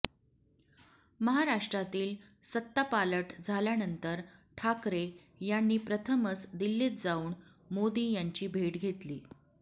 महाराष्ट्रातील सत्तापालट झाल्यानंतर ठाकरे यांनी प्रथमच दिल्लीत जाऊन मोदी यांची भेट घेतली